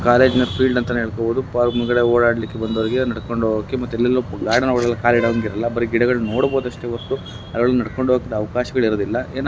ಕಾಲೇಜ್ನ field ಅಂತಾನೆ ಹೇಳ್ಕೋಬಹುದು. Park ಮುಂದೆ ಓಡಾಡ್ಲಿಕ್ಕೆ ಬಂದವ್ರಿಗೆ ನಡ್ಕೊಂಡ್ ಒಗೊಕ್ಕೆ ಮತ್ತೆಲ್ಲೆಲ್ಲೋ ಗಾರ್ಡನ್ ಒಳಗೆ ಕಾಲ್ ಇಡಂಗ್ ಇರಲ್ಲ . ಬರಿ ಗಿಡಗಲ್ ನೋಡಬೋದಷ್ಟೇ ಒರ್ತು ಜನಗಳ್ ನಡ್ಕಂಡ್ ಒಗಾಕ್ ಅವಕಾಶಗಳ್ ಇರದಿಲ್ಲ ಏನಪ್ಪ--